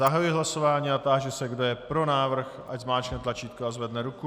Zahajuji hlasování a táži se, kdo je pro návrh, ať zmáčkne tlačítko a zvedne ruku.